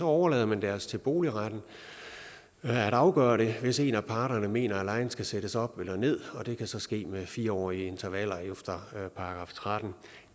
overlader man det altså til boligretten at afgøre det hvis en af parterne mener at lejen skal sættes op eller ned og det kan så ske med fire årige intervaller efter § trettende